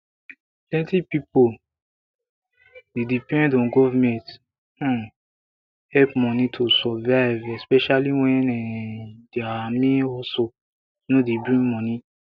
plenty pipo dey depend on government um help money to survive especially when um dia main hustle no dey bring money